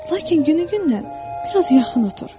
Lakin günü-gündən bir az yaxın otur.